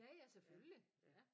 Ja ja selvfølgelig ja